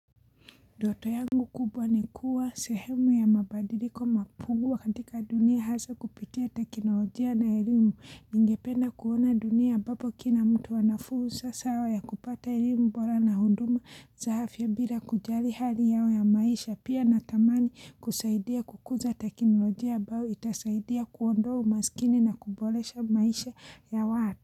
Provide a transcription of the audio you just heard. Ndoto yangu kubwa ni kuwa sehemu ya mabadiliko mapungu katika dunia hasa kupitia tekinolojia na elimu, ningependa kuona dunia ambapo kila mtu anafursa sawa ya kupata elimu bora na huduma za afya bila kujali hali yao ya maisha pia natamani kusaidia kukuza tekinolojia ambao itasaidia kuondoa umasikini na kuboresha maisha ya watu.